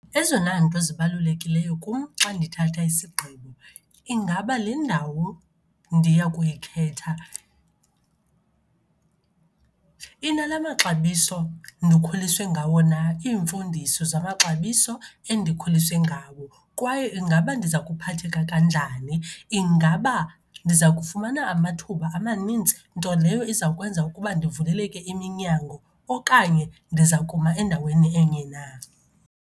Ezona nto zibalulekileyo kum xa ndithatha isigqibo, ingaba le ndawo ndiya kuyikhetha inala maxabiso ndikhuliswe ngawo na, iimfundiso zamaxabiso endikhuliswe ngawo? Kwaye ingaba ndiza kuphatheka kanjani? Ingaba ndiza kufumana amathuba amanintsi, nto leyo izawukwenza ukuba ndivuleleke iminyango okanye ndiza kuma endaweni enye na?